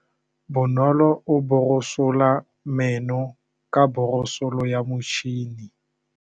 Bonolô o borosola meno ka borosolo ya motšhine.